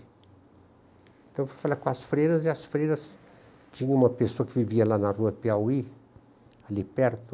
Então eu fui falar com as freiras e as freiras... Tinha uma pessoa que vivia lá na rua Piauí, ali perto.